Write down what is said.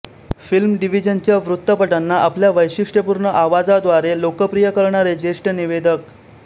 film डिव्हिजनच्या वृत्तपटांना आपल्या वैशिष्ट्यपूर्ण आवाजाद्वारे लोकप्रिय करणारे ज्येष्ठ निवेदक